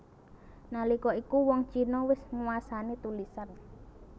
Nalika iku wong Cina wis nguwasani tulisan